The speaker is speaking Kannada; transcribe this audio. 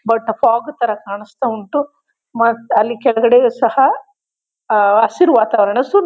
ಬಟ್ ಫಾಗ್ ತರ ಕಾಣ್ಸ್ತ ಒಂಟು. ಮತ್ತೆ ಅಲ್ಲಿ ಕೆಳಗಡೆ ಸಹ ಆ ಹಸಿರು ವಾತಾವರಣ--